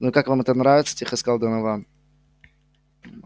ну и как вам это нравится тихо сказал донован